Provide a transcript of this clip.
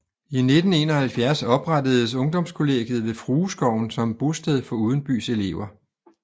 I 1971 oprettedes ungdomskollegiet ved Frueskoven som bosted for udenbys elever